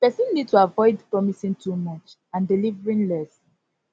person need to avoid promising too much and delivering less